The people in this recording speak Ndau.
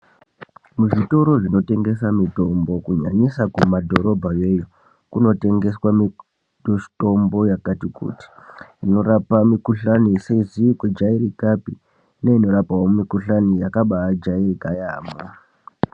Muzvitoro zvinotengesa mitombo kunyanyisa kumadhorobha yoyo, kunotengeswa mitombo yakati kuti. Inorapa mikhuhlani isizi kujaerekapi neinorapawo mikhuhlani yakabaajaereka yaampho.